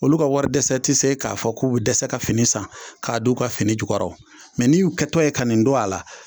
Olu ka wari dɛsɛ ti se k'a fɔ k'u bɛ dɛsɛ ka fini san k'a do u ka fini jukɔrɔ n'i y'u kɛtɔ ye ka nin don a la.